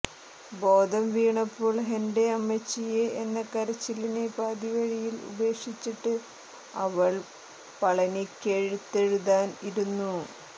ബോധം വീണപ്പോൾ ഹെന്റെ അമ്മച്ചിയേ എന്ന കരച്ചിലിനെ പാതിവഴിയിൽ ഉപേക്ഷിച്ചിട്ട് അവൾ പളനിക്കെഴുത്തെഴുതാൻ ഇരുന്നു